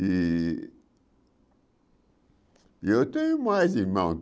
E e eu tenho mais irmãos.